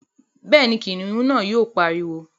Bẹ́ẹ̀ni, kìnìún náà yóò pariwo